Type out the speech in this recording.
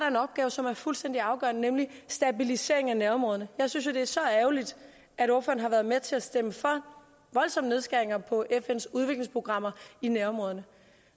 en opgave som er fuldstændig afgørende nemlig stabilisering af nærområderne jeg synes det er så ærgerligt at ordføreren har været med til at stemme for voldsomme nedskæringer på fns udviklingsprogrammer i nærområderne